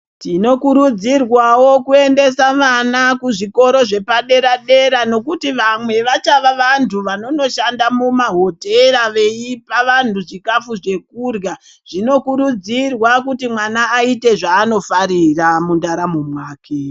Tinokurudzirwawo kuendesa vana kuzvikora zvepaderadera nekuti vamwe vachava vantu vanonoshanda mumahotera veipa vanhu chikafu chekurya zvinokurudzirwa kuti mwana aite zvaanofarira mundaramo mwake.